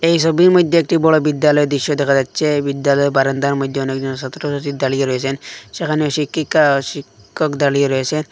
এই সবির মইদ্যে একটি বড় বিদ্যালয় দিশ্য দেখা যাচ্ছে এই বিদ্যালয় বারান্দার মইদ্যে অনেকজন সাতরোসাতি দাড়িয়ে রয়েছেন সেখানে শিক্ষিকা শিক্ষক দাড়িয়ে রয়েছেন।